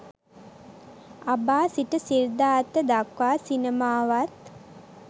අබා සිට සිද්ධාර්ථ දක්වා සිනමාවත්